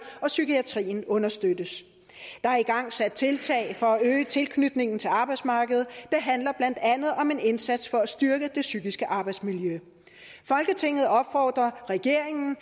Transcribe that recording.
og psykiatrien understøttes der er igangsat tiltag for at øge tilknytningen til arbejdsmarkedet det handler blandt andet om en indsats for at styrke det psykiske arbejdsmiljø folketinget opfordrer regeringen